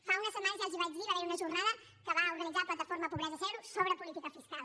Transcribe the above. fa unes setmanes ja els ho vaig dir va haver hi una jornada que va organitzar la plataforma pobresa zero sobre política fiscal